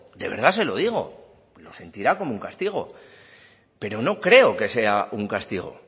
de verdad se lo digo lo sentirá como un castigo pero no creo que sea un castigo